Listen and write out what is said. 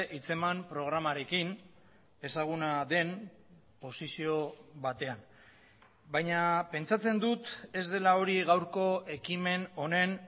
hitzeman programarekin ezaguna den posizio batean baina pentsatzen dut ez dela hori gaurko ekimen honen